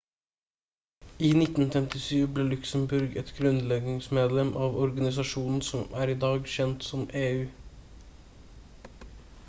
i 1957 ble luxembourg et grunnleggingsmedlem av organisasjonen som er i dag kjent som eu